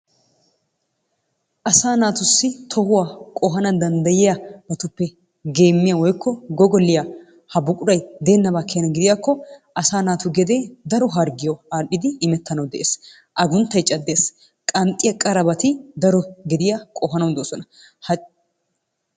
Asaa naatussi tohuwa qohana danddayiyabatuppe geemiya woykko goggoliya ha buqquray deenaba keena gidiyaakko asaa naatu gedee daro hargiyawu aadhidi imetanawu dees. aguntay cadees. qanxiya qarabati ha gediya qohanawu doosona. Ha,,,